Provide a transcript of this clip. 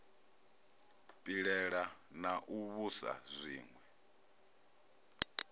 pilela na u vhusa zwiwe